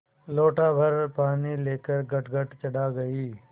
लोटाभर पानी लेकर गटगट चढ़ा गई